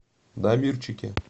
дамирчике